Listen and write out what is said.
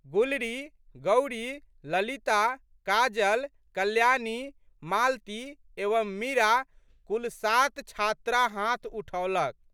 गुलरी, गौरी, ललिता, काजल, कल्याणी, मालती एवं मीरा कुल सात छात्रा हाथ उठौलक।